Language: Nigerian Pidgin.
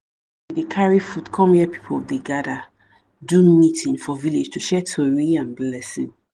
dey carry food come where people dey gather do meeting for villlage to share tori and blessing.